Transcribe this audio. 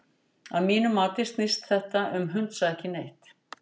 Að mínu mati snýst þetta um hundsa ekki neitt.